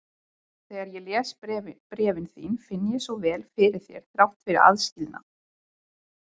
Þegar ég les bréfin þín finn ég svo vel fyrir þér þrátt fyrir aðskilnað.